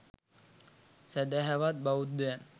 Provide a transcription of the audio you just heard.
සැදැහවත් බෞද්ධයන්